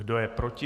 Kdo je proti?